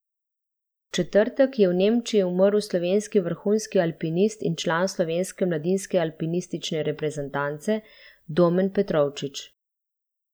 V četrtek je v Nemčiji umrl slovenski vrhunski alpinist in član slovenske mladinske alpinistične reprezentance Domen Petrovčič.